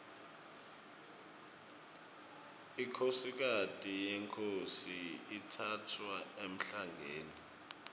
inkhosikati yenkhosi itsatfwa emhlangeni